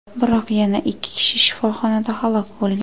Biroq yana ikki kishi shifoxonada halok bo‘lgan.